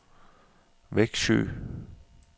Vexjö